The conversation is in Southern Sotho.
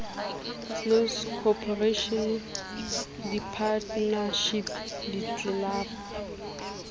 close corporation di partnership ditlelapo